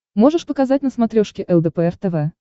можешь показать на смотрешке лдпр тв